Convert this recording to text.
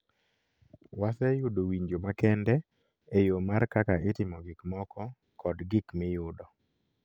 Wase yudo winjo makende e yo mar kaka itimo gik moko kod gik miyudo